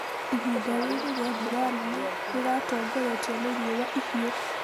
Ihinda rĩrĩ rĩa mbura nene rĩratongoretio nĩ riũa ihiũ.